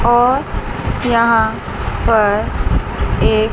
और यहां पर एक--